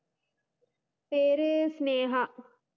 പേര് സ്നേഹ